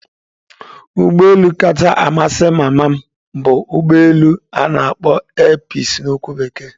Ụgbọ elu kacha amasị mama m bụ ugbo elu ana akpo 'air peaci' na okwu bekee.